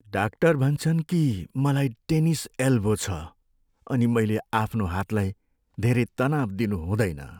Doctor भन्छन् कि मलाई टेनिस एल्बो छ अनि मैले आफ्नो हातलाई धेरै तनाव दिनु हुँदैन।